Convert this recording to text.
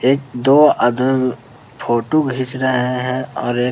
एक-दो आदम फोटू खींच रहे हैं और एक --